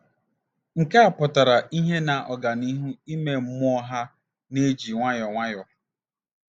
Nke a pụtara ìhè na ọganihu ime mmụọ ha na-eji nwayọọ nwayọọ.